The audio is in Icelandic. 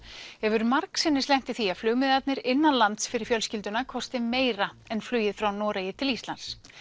hefur margsinnis lent í því að flugmiðarnir innanlands fyrir fjölskylduna kosti meira en flugið frá Noregi til Íslands